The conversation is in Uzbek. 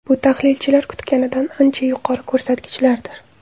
Bu tahlilchilar kutganidan ancha yuqori ko‘rsatkichlardir.